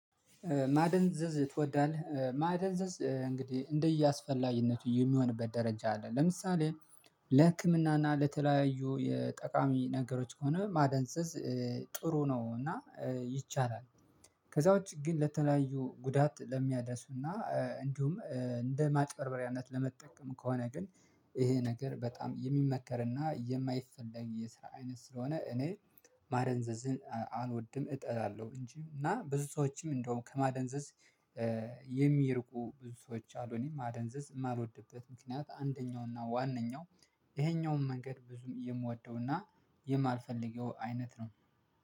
ማደንዘዝ ትወዳለህ? ማደንዘዝ እንግዲህ እንደ የስፈላጊነቱ የሚሆንበት ደረጃ አለ ለምሳሌ ለህክምና እና ለተለያዩ የጠቃሚ ነገሮች ከሆነ ማደንዘዝ ጥሩ ነው እና ይቻላል። ከዛ ውጪ ግን ለተለያዩ ጉዳት ለሚያደርሱና እንዲሁም እንደ ማጭበርበሪያነት ለመጠቀም ከሆነ ግን ይሄ ነገር በጣም የማይመከርና የማይፈለግ የስራ አይነት ስለሆነ እኔ ማደንዘዝን አልወድም እጠላለሁ እንጂ እና ብዙ ሰዎችም እንደውም ከማደንዘዝ የሚርቁ ብዙ ሰዎች አሉ እኔ ማደንዘዝ የማልወድበት ምክንያት አንደኛው እና ዋነኛው ይሄኛውን መንገድ ብዙም የማልደውና የማልፈልገው አይነት ነው